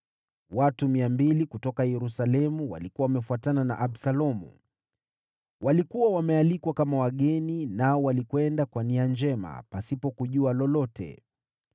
Watu mia mbili kutoka Yerusalemu walikuwa wamefuatana na Absalomu. Walikuwa wamealikwa kama wageni nao walikwenda kwa nia njema, pasipo kujua lolote.